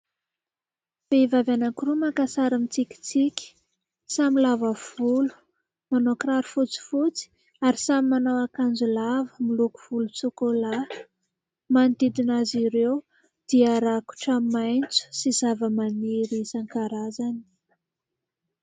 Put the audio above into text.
Vehivavy anankiroa maka sary mitsikinsiky, samy lava volo, manao kiraro fotsifotsy ary samy manao akanjo lava miloko volontsokolahy, manodidina azy ireo dia rakotra maitso sy zavamaniry isankarazany.